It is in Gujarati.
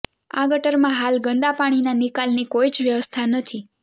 આ ગટરમાં હાલ ગંદાપાણીના નિકાલની કોઇ જ વ્યવસ્થા નથી